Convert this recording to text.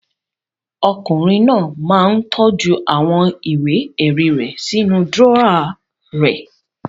Ọkùnrin náà máa ń tọ́jú àwọn ìwé-ẹ̀rí rẹ̀ sínú dúrọ́à rẹ̀.